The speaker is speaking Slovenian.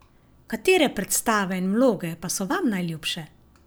Katere predstave in vloge pa so vam najljubše?